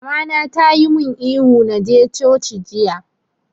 Mama na ta yi mun ihu na je coci jiya!